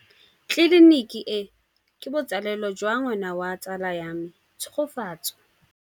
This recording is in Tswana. Tleliniki e, ke botsalêlô jwa ngwana wa tsala ya me Tshegofatso.